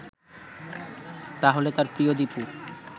তাহলে তার প্রিয় দীপু